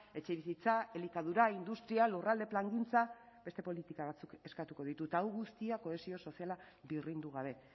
etxebizitza elikadura industria lurralde plangintza beste politika batzuk eskatuko ditu eta hau guztia kohesio soziala birrindu gabe